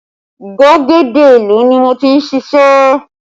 Gbàgede ìlú ni mo ti ń ṣíṣe